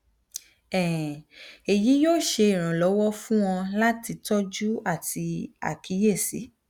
um eyi yoo ṣe iranlọwọ fun ọ lati tọju ati akiyesi